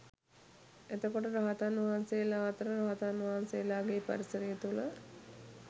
එතකොට රහතන් වහන්සේලා අතර රහතන් වහන්සේලාගේ පරිසරය තුළ